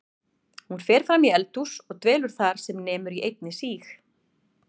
Hún fer fram í eldhús og dvelur þar sem nemur einni síg